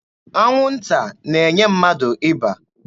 Anwụnta na-enye mmadụ ịba.